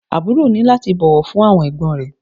Àbúrò ní láti bọ̀wọ̀ fún àwọn ẹ̀gbọ́n rẹ̀